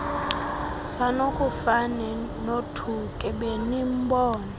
sanukufane nothuke benimbona